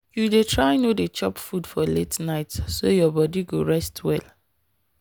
you dey try no dey chop for late night so your body go rest well.